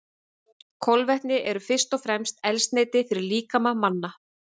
Kolvetni eru fyrst og fremst eldsneyti fyrir líkama manna.